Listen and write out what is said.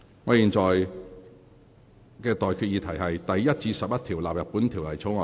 我現在向各位提出的待決議題是：第1至11條納入本條例草案。